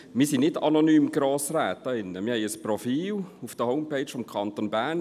Wir sind keine anonymen Grossräte, sondern wir haben ein Profil auf der Website des Kantons Bern.